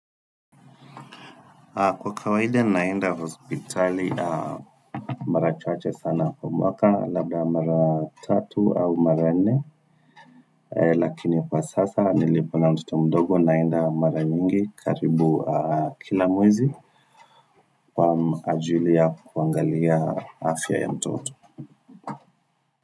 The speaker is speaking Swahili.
Kwa kawaida naenda hospitali mara chache sana kwa mwaka labda mara tatu au mara nne lakini kwa sasa nilipo na mtoto mdogo naenda mara nyingi karibu kila mwezi kwa ajili ya kuangalia afya ya mtoto.